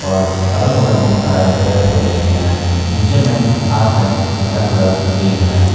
और अगल बगल बहुत सारे पेड़ पौधे भी हैं नीचे में घास है जिसका कलर ग्रीन है।